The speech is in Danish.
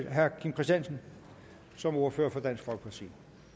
herre kim christiansen som ordfører for dansk folkeparti